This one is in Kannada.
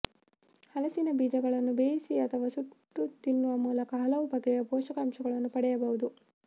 ಹಲಸಿನ ಬೀಜಗಳನ್ನೂ ಬೇಯಿಸಿ ಅಥವಾ ಸುಟ್ಟು ತಿನ್ನುವ ಮೂಲಕ ಹಲವು ಬಗೆಯ ಪೋಷಕಾಂಶಗಳನ್ನು ಪಡೆಯಬಹುದು